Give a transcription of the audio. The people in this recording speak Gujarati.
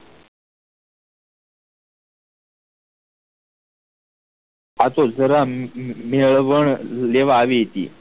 આતો જરામ મેળવ્મ લેવા આવી હતી